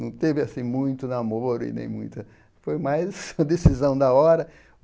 Não teve, assim, muito namoro e nem muita... foi mais uma decisão da hora.